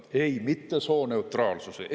Ei, mitte sooneutraalsuse kohta.